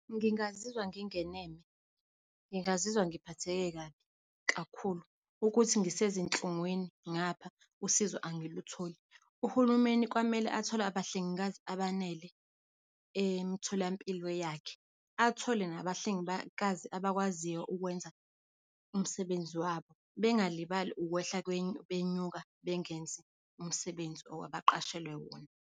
Ngingazizwa ngingeneme, ngingazizwa ngiphatheke kabi kakhulu, ukuthi ngisezinhlungwini ngapha, usizo angilutholi. Uhulumeni kwamele athole abahlengikazi abanele emitholampilo yakhe, athole nabahlengikazi abakwaziyo ukwenza umsebenzi wabo. Bengalibali ukwehla benyuka, bengenzi umsebenzi lo abaqashelwe wona.